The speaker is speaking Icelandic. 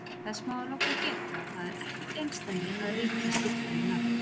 Þess má að lokum geta að það er ekkert einsdæmi að ríki skipti um nafn.